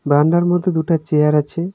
বারান্দার মধ্যে দুটা চেয়ার আছে।